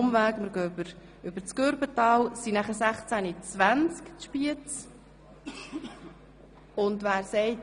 Wir machen einen kleinen Umweg über das Gürbetal und erreichen Spiez um 16.20 Uhr.